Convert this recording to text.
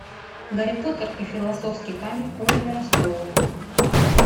гарри поттер и философский камень оливера стоуна